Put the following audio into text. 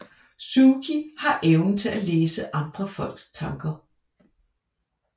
Sookie har evnen til at læse andre folks tanker